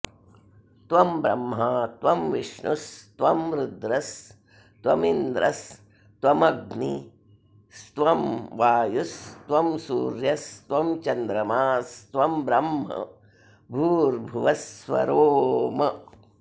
त्वं ब्रह्मा त्वं विष्णुस्त्वं रुद्रस्त्वमिन्द्रस्त्वमग्निस्त्वं वायुस्त्वं सूर्यस्त्वं चन्द्रमास्त्वं ब्रह्म भूर्भुवः स्वरोम्